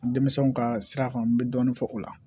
Denmisɛnw ka sira kan n bɛ dɔɔnin fɔ o la